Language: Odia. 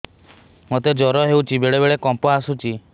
ମୋତେ ଜ୍ୱର ହେଇଚି ବେଳେ ବେଳେ କମ୍ପ ଆସୁଛି